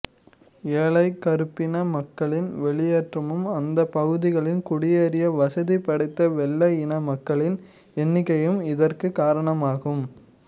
ஏழை கறுப்பின மக்களின் வெளியேற்றமும் அந்த பகுதிகளில் குடியேறிய வசதி படைத்த வெள்ளை இன மக்களின் எண்ணிக்கையும் இதற்கு காரணமாகும்